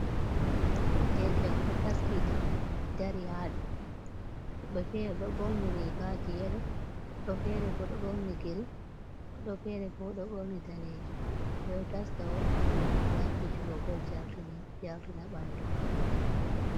Derke en ɗo taskiti dari ha ɗo woɓɓe be fere do ɓorni rigaji yelo fere bo ɗo ɓorni girin woɓɓe fere bo ɗo borni daneji. Ɓeɗo taska on ngam fijugo bol jarina ɓandu maɓɓe.